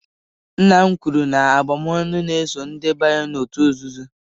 Nna m kwuru na abụm'ọnụ na-eso ndị banyere òtù nzuzo